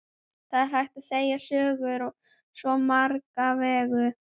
Það er hægt að segja sögur á svo marga vegu.